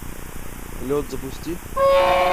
лед запусти